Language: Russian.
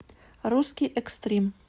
русский экстрим